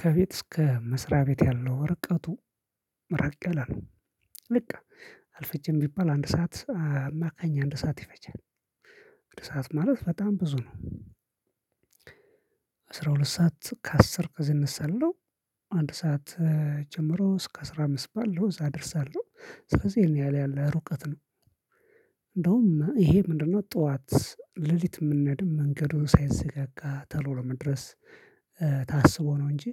ከቤት እስከ መስሪያ ቤት ያለው ርቀቱ ራቅ ያለ ነው። ልቅ አርፈጅም ቢባል አንድ ሰዓት አማካኝ አንድ ሰዓት ይፈጃል። አንድ ሰዓት ማለት በጣም ብዙ ነው። አስራ ሁለት ሰዓት ከአስር ከዚህ እነሳለው አንድ ሰዓት ጀምሮ እስከ አስራ አምስት ባለው እዛ አደርሳለሁ። ስለዚህ ይህን ያለ ያለ ሩቀት ነው። እንደውም ይሄ ምንድነው? ጠዋት ሌሊት የምንሄድም መንገዱ ሳይዘጋጋ ተሎ ለመድረስ ታስቦ ነው እንጅ።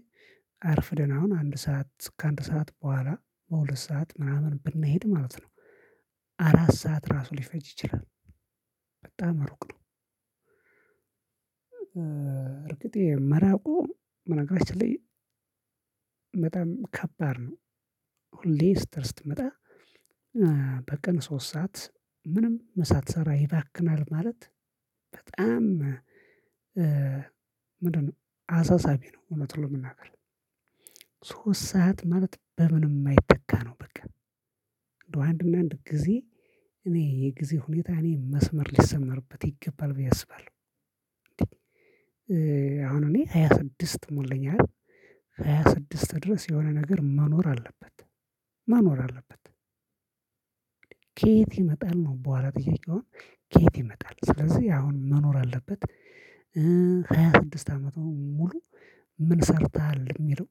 አርፍደን አሁን አንድ ሰዓት ከአንድ ሰዓት በኋላ በ ሁለት ሰዓት ሚናምን ብንሄድ ማለት ነው። አራት ሰዓት ራሱ ሊፈጅ ይችላል። በጣም ሩቅ ነው። እርግጥ ይሄ መራቁ በነገራችን ላይ በጣም ከባድ ነው። ሁሌ ስተድ ስትመጣ በቀን ሶስት ሰዓት ምንም ምሳትሰራ ይባክናል ማለት በጣም ምንድነው አሳሳቢ ነው እውነቱን ለመናገር። ሶስት ሰዓት ማለት በምንም የማይተካ ነው በቃ። እንዳው አንድ እና አንድ ጊዜ እኔ የጊዜ ሁኔታ እኔ መስመር ሊሰመርበት ይገባል ብዬ አስባለሁ። አሁን እኔ ሃያ ስድስት ሞልቶኛል። ሃያ ስድስት ድረስ የሆነ ነገር መኖር አለበት መኖር አለበት። ከየት ይመጣል ነው በኋላ ጥያቄው። ከየት ይመጣል? ስለዚህ አሁን መኖር አለበት። ሃያ ስድስት አመቱን ሙሉ ምን ሰርተሃል የሚለው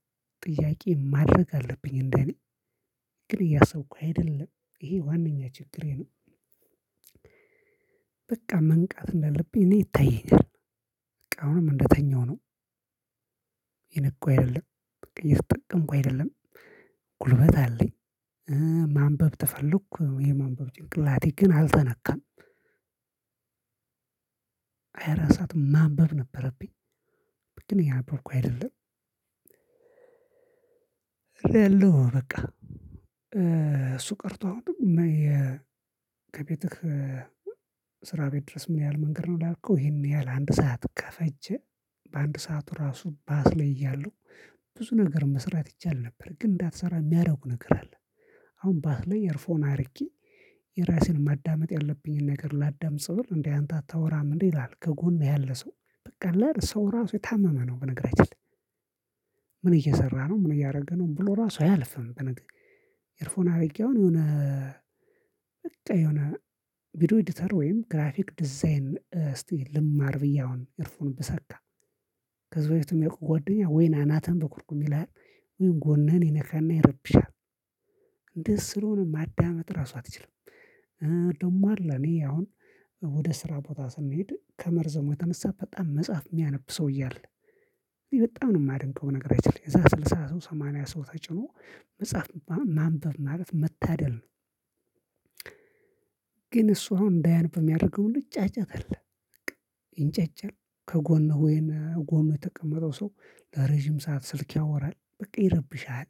ጥያቄ ማድረግ አለብኝ እንደኔ። ግን እያሰብኩ አይደለም ይሄ ዋናኛ ችግሬ ነው። በቃ መንቃት እንዳለብኝ እኔ ይታይኛል። በቃ አሁንም እንደተኛሁ ነው። እየነቃው አይደለም። እየተጠቀምኩ አይደለም። ጉልበት አለኝ። ማንበብ ተፈለኩ የማንበብ ጭንቅላቴ ግና አልተነካም። ሃያ አራት ሰዓት ማንበብ ነበረብኝ። ግን እያነበብኩ አይደለም። እረ ያለው በቃ እሱ ቀርቶ ኝን የ ከቤትህ ስራ ቤት ድረስ ምን ያህል መንገድ ነው ላልከው ይሄን ያህል አንድ ሰዓት ከፈጀ። በአንድ ሰዓት ራሱ ባስ ላይ እያለሁ ብዙ ነገር መስራት ይቻል ነበር ግን እንዳትሰራ የሚያደርጉ ነገር አለ። አሁን ባስ ላይ ኤርፎን አድርጌ የራሴን ማዳመጥ ያለብኝን ነገር ላዳምጽ ብል እንዴ? አንተ አታወራም እንዴ? ይላል ከጎን ያለ ሰው። በቃ ሰው ራሱ የታመመ ነው በነገራችን ላይ። ምን እየሰራ ነው ምን እያደረገ ነው? ብሎ ራሱ አያልፍም። በነገራችን ኤርፎን አድርጌ አሁን የሆነ የሆነ ቪዲዮ ኤዲተር ወይም ግራፊክ ዲዛይን እስቲ ልማር ብዬ አሁን ኤርፉን ብሰካ። ከዚህ በፊት የሚያውቁ ጓደኛ ወይም አናትህን በኩርኩም ይልሃል። ወይም ጎንህን ይነካና ይረብሻል። እንደዚ ስለሆነ ማዳመጥ ራሱ አትችልም። ደሞ አለ እኔ አሁን ወደ ስራ ቦታ ስንሄድ ከመርዘሙ የተነሳ በጣም መጽሐፍ የሚያነብ ሰውየ አለ። በጣም ማደንቀው በነገራችን ላይ ከዛ ስልሳ ሰው ሰማኒያ ሰው ተጭኖ መጽሐፍ ማ ማንበብ ማለት መታደል ነው። እሱ አሁን እንዳያነብ ሚያደርገው ምንድነው? ጫጫታ አለ። በቃ ይንጫጫል ከጎኑ ወይም ከ ጎኑ የተቀመጠው ሰው ለረዥም ሰዓት ስልክ ያወራል በቃ ይረብሽሃል።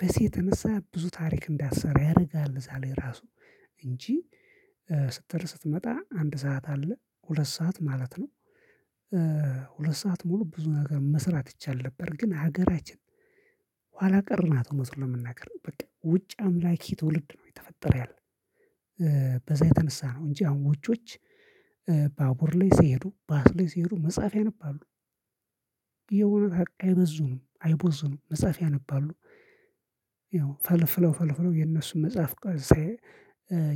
በዚ የተነሳ ብዙ ታሪክ እንዳትሰራ ያደርጋሃል። በዛ ላይ ራሱ እንጂ ስትሄድ ስትመጣ አንድ ሰዓት አለ ሁለት ሰዓት ማለት ነው። ሁለት ሰዓት ሙሉ ብዙ ነገር መስራት ይቻል ነበር ግን ሀገራችን ኋላቀር ናት እውነቱን ለመናገር በቃ ውጭ አምላኪ ትውልድ ነው እየተፈጠረ ያለው። በዛ የተነሳ ነው እንጂ አሁን ውጮች ባቡር ላይ ሲሄዱ ባስ ላይ ሲሄዱ መጽሐፍ ያነባሉ። የውነት አይበዙኑም አይቦዙኑም መጽሐፍ ያነባሉ። ያው ፈልፍለው ፈልፍለው የነሱን መጽሐፍ ቀ ሳየው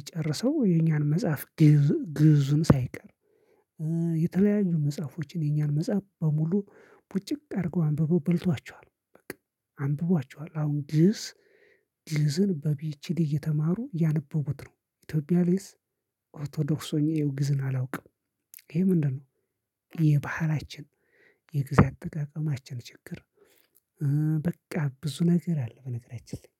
ጨርሰው የኛን መጽሐፍ ግእዝ ግዕዙም ሳይቀር የተለያዩ መጽሐፎችን የኛን መጽሐፍ በሙሉ ቡጭቅ አድርገው አንብበው በልተዋቸዋል በቃ። አንብቧቸዋል አሁን ግእዝ ግዕዝን በፒኤችዲ እየተማሩ እያነበቡት ነው ኢትዮጵያ ላይስ? ኦርቶዶክስ ሆኜ እየው ግዕዝን አላውቅም። ይሄ ምንድነው? የባህላችን የጊዜ አጠቃቀማችን ችግር። በቃ ብዙ ነገር አለ በነገራችን ላይ